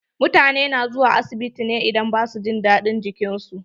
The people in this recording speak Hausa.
Mutane na zuwa asibiti idan ba su jin daɗin jikin su.